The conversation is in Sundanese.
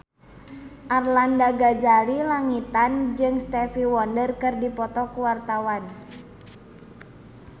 Arlanda Ghazali Langitan jeung Stevie Wonder keur dipoto ku wartawan